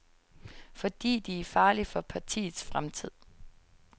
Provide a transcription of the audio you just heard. Fordi de er farlige for partiets fremtid.